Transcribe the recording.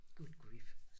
Good grief